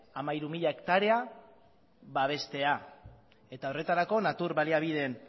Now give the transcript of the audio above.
hamairu mila hektarea babestea eta horretarako natur baliabideen